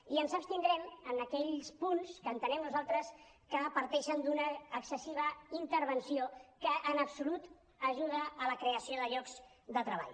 i ens abstindrem en aquells punts que entenem nosaltres que parteixen d’una excessiva intervenció que en absolut ajuda a la creació de llocs de treball